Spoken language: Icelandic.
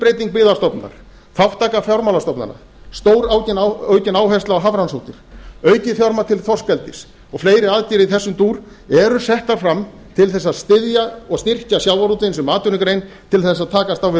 skuldbreyting byggðastofnunar þátttaka fjármálastofnana stóraukin áhersla á hafrannsóknir aukið fjármagn til þorskeldis og fleiri aðgerðir í þessum dúr eru settar fram til þess að styðja og styrkja sjávarútveginn sem atvinnugrein til þess að takast á við